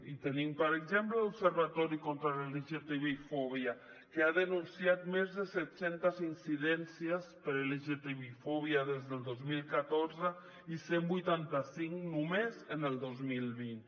i tenim per exemple l’observatori contra la lgtbifòbia que ha denunciat més de set cents incidències per lgtbifòbia des del dos mil catorze i cent i vuitanta cinc només en el dos mil vint